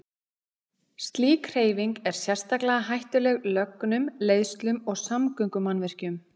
Slík hreyfing er sérstaklega hættuleg lögnum, leiðslum og samgöngumannvirkjum.